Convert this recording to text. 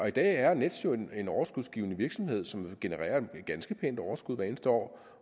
i dag er nets jo en overskudsgivende virksomhed som genererer et ganske pænt overskud hvert eneste år